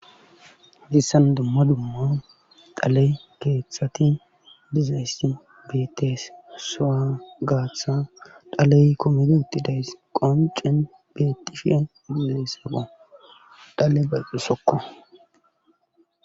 Hayssan dumma dumma dhaley keeththati dizaysi betees soa gaatha dhaley koomedi uttidays qoncen betishe buleesaqo dhale baqisokko